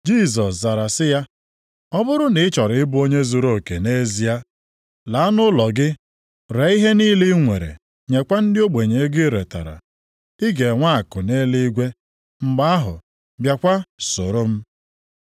Jisọs zara sị ya, “Ọ bụrụ na ị chọrọ ịbụ onye zuruoke nʼezie, laa nʼụlọ gị ree ihe niile i nwere, nyekwa ndị ogbenye ego i retara. Ị ga-enwe akụ nʼeluigwe, mgbe ahụ, bịakwa soro m.”